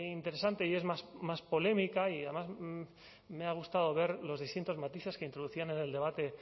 interesante y es más más polémica y además me ha gustado ver los distintos matices que introducían en el debate